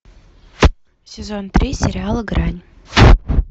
сезон три сериала грань